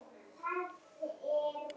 Þetta eru stór orð.